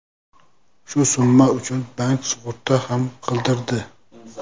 Shu summa uchun bank sug‘urta ham qildirdi.